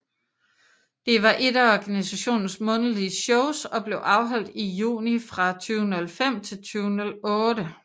Det var ét af organisationens månedlige shows og blev afholdt i juni fra 2005 til 2008